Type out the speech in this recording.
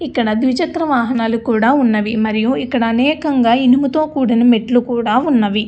ఇక్కడ ద్విచక్ర వాహనాలు కూడా ఉన్నవి మరియు ఇక్కడ అనేక ఇనుము తో కూడిన మెట్లు కూడా ఉన్నవి.